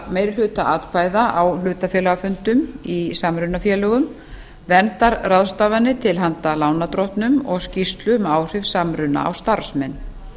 meirihluta atkvæða á hluthafafundum í samrunafélögum verndarráðstafanir til handa lánardrottnum og skýrslu um áhrif samruna á starfsmenn